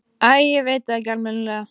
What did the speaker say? Æ, ég veit það ekki almennilega.